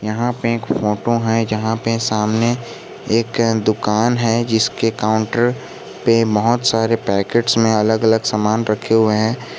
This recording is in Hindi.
यहां पे एक फोटो है जहां पे सामने एक दुकान है जिसके काउंटर पे बहोत सारे पैकेट्स में अलग अलग सामान रखे हुए हैं।